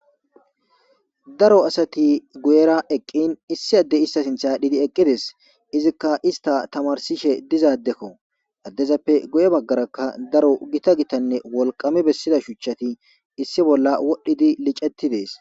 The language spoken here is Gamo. Daro asati guyera eqqin, issi addey ista sinthe aadhidi eqqides. Izika ista tamarsishe diza addeko. Addezappe guye baggaraka daro gita gitanne wolqami bessiza shuchchati issi bollan wodhidi liceti dees.